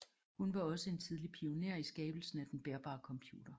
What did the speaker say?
Hun var også en tidlig pioner i skabelsen af den bærbare computer